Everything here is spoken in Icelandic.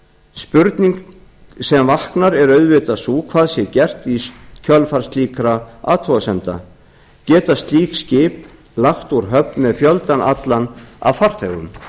spurning sem vaknar er auðvitað sú hvað sé gert í kjölfar slíkra athugasemda geta slík skip lagt úr höfn með fjöldann allan af farþegum